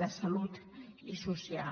de salut i social